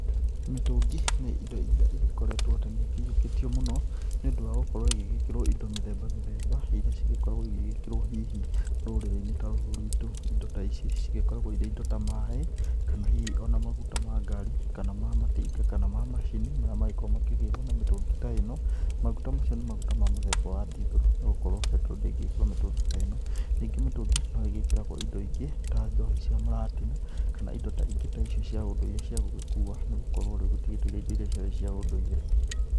Mĩtũngi nĩ indo irĩa igĩkoretwo atĩ nĩ ikĩiyokĩtio mũno nĩ ũndũ wa gũkorwo ĩgĩkĩrwo indo mĩthemba mĩthemba irĩa cigĩkoragwo igĩkĩrwo hihi rũrĩrĩ-inĩ ta rũrũ rwĩtũ indo ta ici cigĩkoragwo irĩ indo ta maĩ kana hihi ona maguta ma gari kana ma matinga kana ma macini marĩa magĩkoragwo makĩgĩrwo na mĩtũngi ta ĩno maũndũ ta mau nĩ magũta mũthemba wa ndithero nĩgũkorwo mbetero ndĩngĩgĩkĩrwo mĩtũngi ta ĩno, ningĩ mĩtũngi no ĩgĩkĩragwo indo ingĩ ta njohi cia mũratina kana indo ingĩ ta icio cia ũndũire cia gũgĩkua nĩgũkorwo rĩu gũtigĩtũire indo irĩa ciarĩ cia ũndũire.